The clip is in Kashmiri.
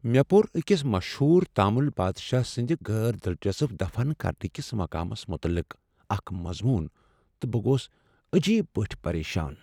مےٚ پوٚر أکس مشہور تامل بادشاہ سٕنٛد غیر دلچسپ دفن کرنہٕ کس مقامس متعلق اکھ مضمون تہٕ بہٕ گوس عجیب پٲٹھۍ افسردہ۔